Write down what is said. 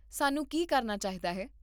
ਸਾਨੂੰ ਕੀ ਕਰਨਾ ਚਾਹੀਦਾ ਹੈ?